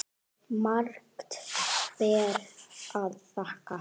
Margt ber að þakka.